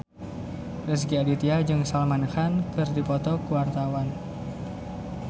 Rezky Aditya jeung Salman Khan keur dipoto ku wartawan